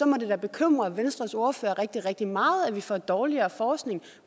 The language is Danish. må det da bekymre venstres ordfører rigtig rigtig meget at vi får dårligere forskning